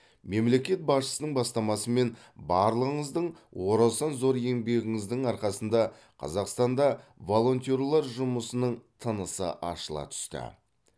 мемлекет басшысының бастамасымен барлығыңыздың орасан зор еңбегіңіздің арқасында қазақстанда волонтерлар жұмысының тынысы ашыла түсті